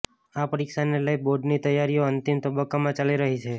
આ પરીક્ષાને લઈ બોર્ડની તૈયારીઓ અંતિમ તબક્કામાં ચાલી રહી છે